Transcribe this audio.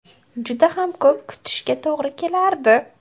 Juda ham ko‘p kutishga to‘g‘ri kelardi.